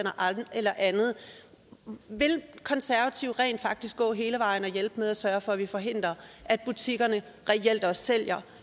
eller andet vil konservative rent faktisk gå hele vejen og hjælpe med at sørge for at vi forhindrer at butikkerne reelt også sælger